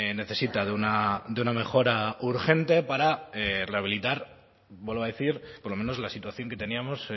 necesita de una mejora urgente para rehabilitar vuelvo a decir por lo menos la situación que teníamos